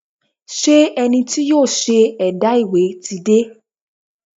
Ṣé ẹni tí yóò ṣe ẹ̀dà ìwé ti dé?